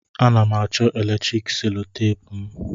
A na'm acho eletrik solotape'm.